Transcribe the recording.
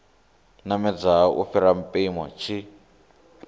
namedzaho u fhira mpimo tshi